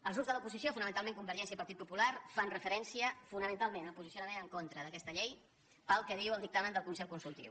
els grups de l’oposició fonamentalment convergència i partit popular fan referència fonamentalment al posicionament en contra d’aquesta llei pel que diu el dictamen del consell consultiu